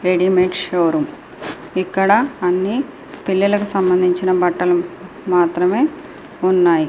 Readymade showroom ఇక్కడ అన్ని పిల్లలకు సంబంధించిన బట్టలు మాత్రమే ఉన్నాయి.